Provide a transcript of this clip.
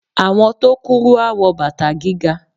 Àwọn tó kúrú a wọ bàtà gíga.